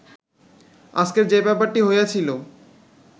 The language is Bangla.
আজকের যে ব্যাপারটি হইয়াছিল